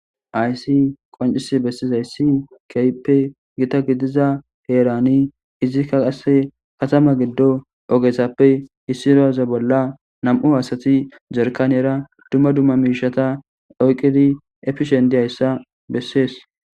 Aysi qoncis bessizayssi keyppe gita gidiza heerani izikka qasse katama giddo ogethappe hissiroaze bolla nam'u hasati jerkaniyera dumma dumma miishata oyqqidi epishendiyayssa bessees.